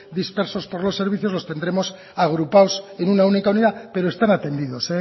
dispersos por los servicios los tendremos agrupados en una única unidad pero están atendidos